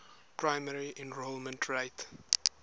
primary enrollment rate